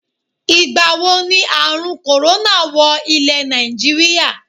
Ìgbàwo ni àrun "corona" wọ ilè Nàìjíríà?